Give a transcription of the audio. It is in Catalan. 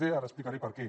d ara explicaré per què